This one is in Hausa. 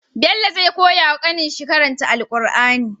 Bello zai kawo ya kanin shi karanta qur'ani